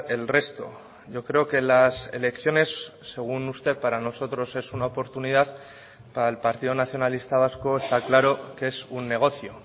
el resto yo creo que las elecciones según usted para nosotros es una oportunidad para el partido nacionalista vasco está claro que es un negocio